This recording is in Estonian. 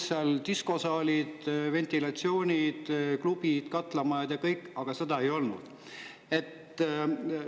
Seal olid diskosaalid, ventilatsioon, klubid, katlamajad ja kõik, aga ei olnud.